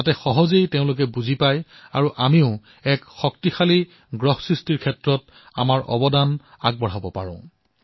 ইয়াৰ দ্বাৰা যাতে এক সুস্থ ধৰিত্ৰী নিৰ্মাণত আমি যোগদান দিব পাৰো